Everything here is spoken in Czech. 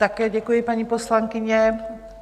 Také děkuji, paní poslankyně.